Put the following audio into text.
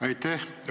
Aitäh!